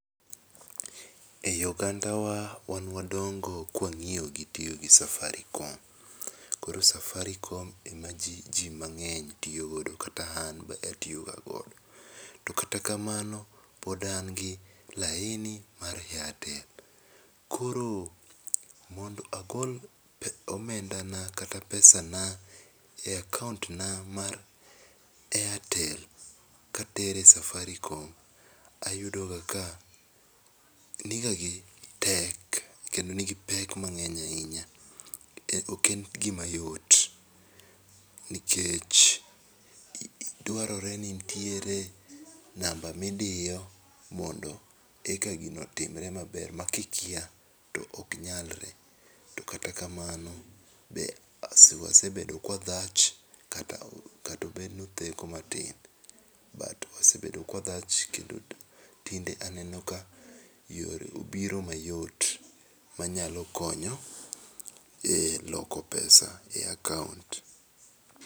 Ei ogandawa, wan wadóngo ka wang'iyo gi tiyo gi safaricom. Koro Safaricom ema ji ji mang'eny tiyo godo kata an be atiyoga godo. Tokata kamano, pod an gi laini mar Airtel. Koro mondo agol omendana kata pesana e akaont na mar Airtel, katere Safaricom, ayudoga ka niga gi tek, kendo nigi pek mang'eny ahinya. Ok en gimayot nikech dwarore ni nitiere namba midiyo mondo eka gino otimre maber makikia, to ok nyalre. To kata kamano be wasebedo kwadhach kata obedo ni otheko matin, but wasebedo kwadhacg kendo tinde aneno ka yore obiro mayot manyalo konyo e loko pesa e akaont.